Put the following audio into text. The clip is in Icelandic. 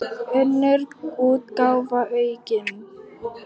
Önnur útgáfa aukin.